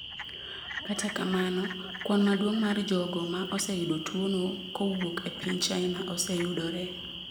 Kata kamano, kwan maduong’ mar jogo ma oseyudo tuwono kowuok e piny China oseyudore.